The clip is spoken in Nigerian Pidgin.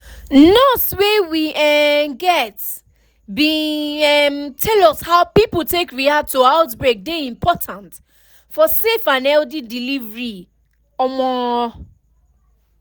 nurse wey we um get bin um tell us how pipo take react to outbreak dey important for safe and healthy delivery um